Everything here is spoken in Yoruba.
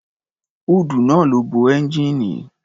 Húùdù náà ló bo ẹ́ńgijíìnì.